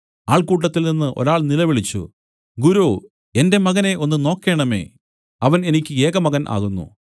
ആൾക്കൂട്ടത്തിൽനിന്ന് ഒരാൾ നിലവിളിച്ചു ഗുരോ എന്റെ മകനെ ഒന്ന് നോക്കേണമേ അവൻ എനിക്ക് ഏകമകൻ ആകുന്നു